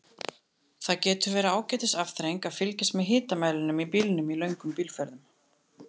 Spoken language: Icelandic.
Það getur verið ágætis afþreying að fylgjast með hitamælinum í bílnum í löngum bílferðum.